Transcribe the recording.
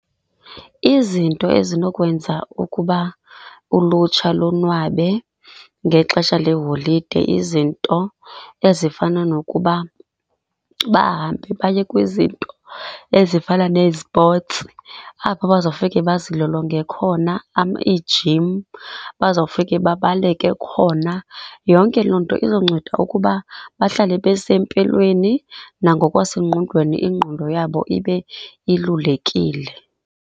Izinto ezinokwenza ukuba ulutsha lonwabe ngexesha leeholide, izinto ezifana nokuba bahambe baye kwizinto ezifana nezipotsi apho bazofike bazilolonge khona, iijim, bazofike babaleke khona. Yonke loo nto izonceda ukuba bahlale besempilweni, nangokwasengqondweni ingqondo yabo ibe ilulekile.